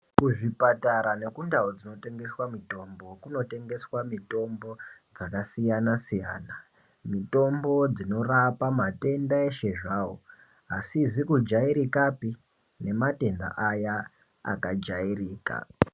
Kuzvipatara nekundau dzinotengeswa mitombo kunotengeswa mitombo dzakasiyana-siyana. Mitombo dzinorapa matenda eshe zvawo, asizi kujairikapi nematenda aya akajairika.